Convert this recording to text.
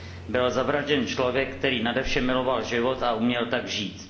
Byl zavražděn člověk, který nadevše miloval život a uměl tak žít.